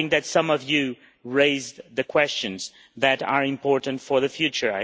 Some of you, I think, raised the questions that are important for the future.